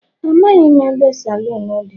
Amaghị m ebe saloon dị.